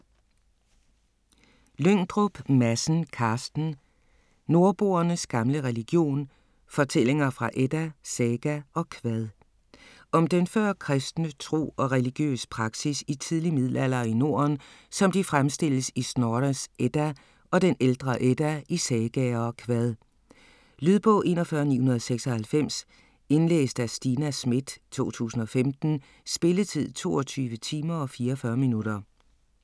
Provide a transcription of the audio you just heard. Lyngdrup Madsen, Carsten: Nordboernes gamle religion: fortællinger fra edda, saga og kvad Om den førkristne tro og religiøs praksis i tidlig middelalder i Norden, som de fremstilles i Snorres Edda og den ældre Edda, i sagaer og kvad. Lydbog 41996 Indlæst af Stina Schmidt, 2015. Spilletid: 22 timer, 44 minutter.